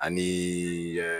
Ani